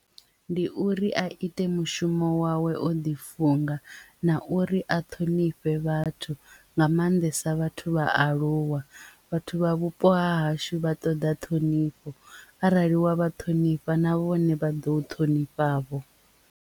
Ndi uri a ite mushumo wawe o ḓi funga na uri a ṱhonifhe vhathu nga maanḓesa vhathu vhaaluwa vhathu vha vhupo ha hashu vha ṱoḓa ṱhonifho arali wa vha ṱhonifha na vhone vha ḓo u ṱhonifha vho.